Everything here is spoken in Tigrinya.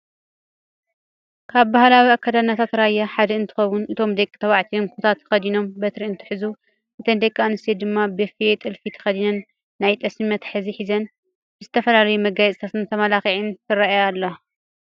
ካብ ባህላዊ ኣክዳድናታት ራያ ሓደ እንትኸውን እቶም ደቂ ተባዕትዮን ኩታ ተኸዲኖም በትሪ እንትሕዙ እተን ደቂ ኣንስትዮን ድማ በፌ ጥልፊ ተኸዲነን ናይ ጠስሚ መትሓዚ ሒዘን ብዝተፈላለዩ መጋየፅታትን ተመላኺዓ ትረኣ ኣላ።